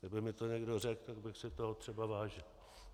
Kdyby mi to někdo řekl, tak bych si toho třeba vážil.